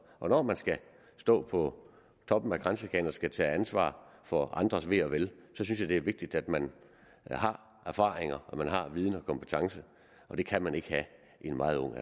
og når man skal stå på toppen af kransekagen og skal tage ansvar for andres ve og vel synes jeg det er vigtigt at man har erfaringer viden og kompetence det kan man ikke have i en meget ung